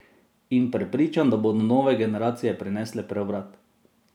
In prepričan, da bodo nove generacije prinesle preobrat.